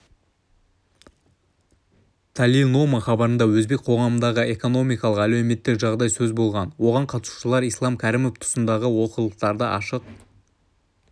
талилнома хабарында өзбек қоғамындағы экономикалық әлеуметтік жағдай сөз болған оған қатысушылар ислам кәрімов тұсындағы олқылықтарды ашық